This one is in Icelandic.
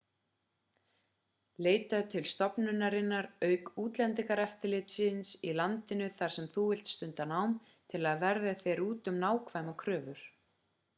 leitaðu til stofnunarinnar auk útlendingaeftirlitsins í landinu þar sem þú vilt stunda nám til að verða þér úti um nákvæmar kröfur